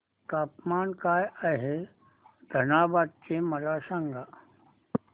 तापमान काय आहे धनबाद चे मला सांगा